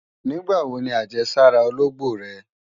Nígbàwo ni àjẹsára ológbò rẹ?